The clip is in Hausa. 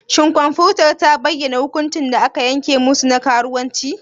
Shin kwamfutar ta bayyana hukuncin da aka yanke musu na karuwanci?